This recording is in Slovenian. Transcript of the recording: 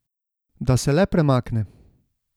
Da se le premakne.